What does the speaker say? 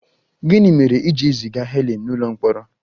Gịnị mere e ji ziga Helen n'ụlọ mkpọrọ?